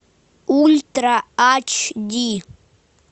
ультра ач ди